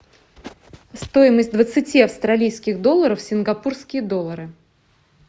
стоимость двадцати австралийских долларов в сингапурские доллары